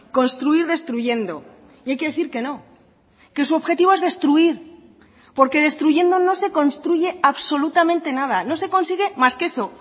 construir destruyendo y hay que decir que no que su objetivo es destruir porque destruyendo no se construye absolutamente nada no se consigue más que eso